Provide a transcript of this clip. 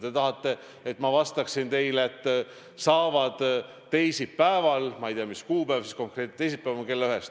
Te tahate, et ma vastaksin teile, et saavad liikuma teisipäeval, ma ei tea, mis kuupäev see konkreetne teisipäev siis on, kella ühest.